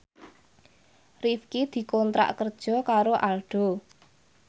Rifqi dikontrak kerja karo Aldo